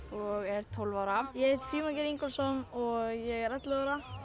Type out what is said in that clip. og er tólf ára ég Frímann Geir Ingólfsson og ég er ellefu ára